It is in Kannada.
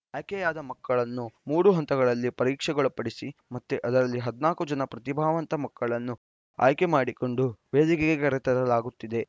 ಆಯ್ಕೆಯಾದ ಮಕ್ಕಳನ್ನು ಮೂರು ಹಂತಗಳಲ್ಲಿ ಪರೀಕ್ಷೆಗೊಳಪಡಿಸಿ ಮತ್ತೆ ಅವರಲ್ಲಿ ಹದಿನಾಲ್ಕು ಜನ ಪ್ರತಿಭಾವಂತ ಮಕ್ಕಳನ್ನು ಆಯ್ಕೆಮಾಡಿಕೊಂಡು ವೇದಿಕೆಗೆ ಕರೆತರಲಾಗುತ್ತಿದೆ